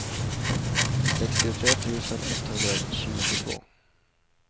sextiotre tusen etthundratjugotvå